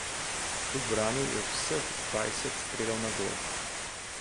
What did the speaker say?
Ubranil je vseh dvajset strelov na gol.